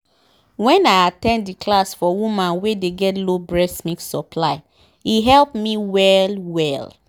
wen i at ten d the class for woman wen dey get low breast milk supply e help me well well